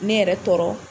Ne yɛrɛ tɔɔrɔ